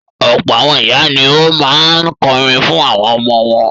Ọ̀pọ̀ àwọn ìyá ni ó máa ń kọrin fún àwọn ọmọ wọn